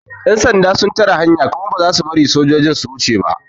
Yan sanda sun tare hanya kuma ba za su bari motocin su wuce ba.